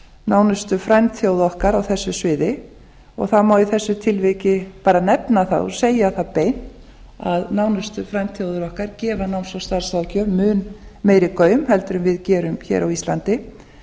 nánustu frændþjóða okkar á þessu sviði og það má í þessu tilviki bara nefna það og segja það beint að nánustu frændþjóðir okkar gefa náms og starfsfræðslu mun meiri gaum heldur en við gerum á íslandi og það